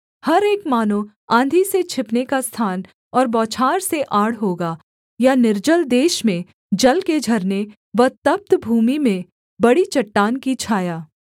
हर एक मानो आँधी से छिपने का स्थान और बौछार से आड़ होगा या निर्जल देश में जल के झरने व तप्त भूमि में बड़ी चट्टान की छाया